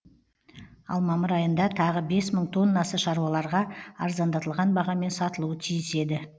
ал мамыр айында тағы бес мың тоннасы шаруаларға арзандатылған бағамен сатылуы тиіс еді